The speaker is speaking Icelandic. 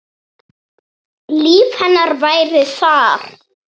Líf hennar væri þar.